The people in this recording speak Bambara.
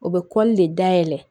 O bɛ de dayɛlɛ